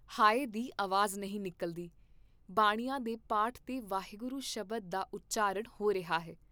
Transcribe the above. ਹਾਇ ਦੀ ਆਵਾਜ਼ ਨਹੀਂ ਨਿਕਲਦੀ, ਬਾਣੀਆਂ ਦੇ ਪਾਠ ਤੇ ਵਾਹਿਗੁਰੂ ਸ਼ਬਦ ਦਾ ਉਚਾਰਨ ਹੋ ਰਿਹਾ ਹੈ।